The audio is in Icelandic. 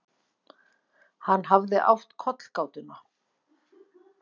Hann hafði átt kollgátuna.